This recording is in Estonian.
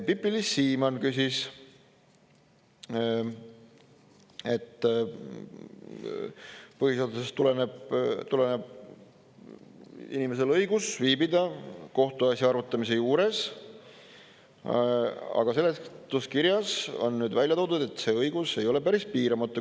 Pipi-Liis Siemann küsis, et põhiseadusest tuleneb inimesel õigus viibida kohtuasja arutamise juures, aga seletuskirjas on välja toodud, et see õigus ei ole päris piiramatu.